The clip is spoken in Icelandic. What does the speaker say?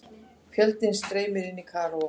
Fjöldinn streymir inn í Kaíró